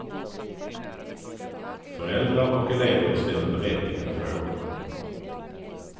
Föräldrar och elever ställer berättigade frågor.